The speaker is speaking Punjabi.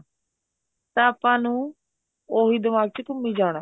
ਤਾਂ ਆਪਾਂ ਨੂੰ ਉਹੀ ਦਿਮਾਗ ਚ ਘੂਮੀ ਜਾਣਾ